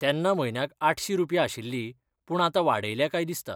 तेन्ना म्हयन्याक आठशी रुपया आशिल्ली पूण आतां वाडयल्या काय दिसता.